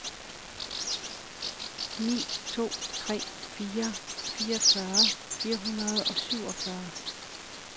ni to tre fire fireogfyrre fire hundrede og syvogfyrre